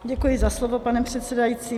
Děkuji za slovo, pane předsedající.